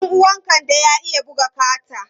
Ɗan uwan Kande ya iya buga kata.